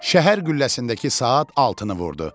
Şəhər qülləsindəki saat altını vurdu.